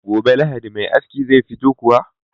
Gobe lahadi Me aski zai fito kuwa?